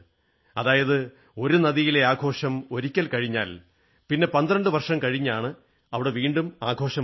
അതായത് ഒരു നദിയിലെ ആഘോഷം ഒരിക്കൽ കഴിഞ്ഞാൽ പിന്നെ 12 വർഷം കഴിഞ്ഞാണ് അവിടെ വീണ്ടും ആഘോഷം വരുക